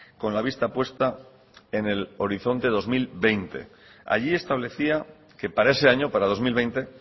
con la vista puesta en el horizonte dos mil veinte allí establecía que para ese año para dos mil veinte